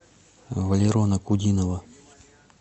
валерона кудинова